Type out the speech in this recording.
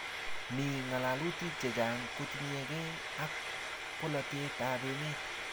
Mi ng'alalutik chechang' kotinykey ak polatet ap emet